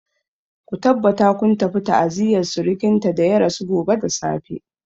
Ku tabbata kun tafi ta'aziyar surkinta da ya rasu gobe da safe.